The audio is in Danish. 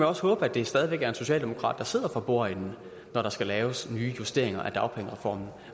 også håbe at det stadig væk er en socialdemokrat der sidder for bordenden når der skal laves nye justeringer af dagpengereformen